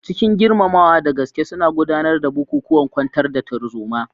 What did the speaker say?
Cikin girmamawa da gaske suna gudanar da bukukuwan kwantar da tarzoma.